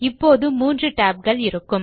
இப்போது 3 tabகள் இருக்கும்